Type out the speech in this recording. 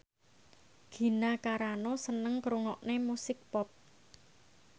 Gina Carano seneng ngrungokne musik pop